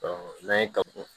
n'an ye ka